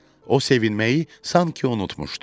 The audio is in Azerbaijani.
O sevinməyi sanki unutmuşdu.